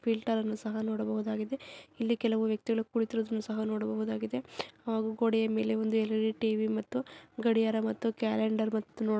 ನೀರಿನ ಫಿಲ್ಟರ್ ಅನ್ನು ಸಹ ನೋಡಬಹುದಾಗಿದೆ. ಹಿಂದೆ ಕೆಲವು ವ್ಯಕ್ತಿಗಳ ಕುರಿತು ಸಹ ನೋಡಬಹುದಾಗಿದೆ. ಆ ಗೋಡೆಯ ಮೇಲೆ ಒಂದು ಅಡಿ ಮತ್ತು ಗಡಿಯಾರ ಮತ್ತು ಕ್ಯಾಲೆಂಡರ್ ಮತ್ತುನು.